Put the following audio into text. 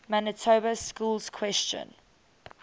manitoba schools question